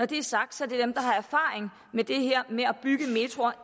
det er sagt er det dem der har erfaring med det her med at bygge metroer